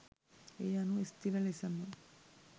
ඒ අනුව ස්ථීර ලෙසම